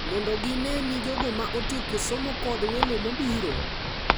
Mondo gine ni jogo ma otieko somo kod welo mobiro.